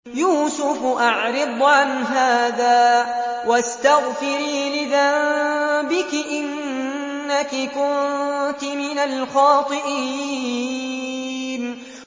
يُوسُفُ أَعْرِضْ عَنْ هَٰذَا ۚ وَاسْتَغْفِرِي لِذَنبِكِ ۖ إِنَّكِ كُنتِ مِنَ الْخَاطِئِينَ